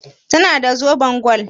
Ta na da zoben gwal?